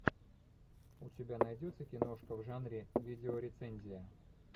у тебя найдется киношка в жанре видеорецензия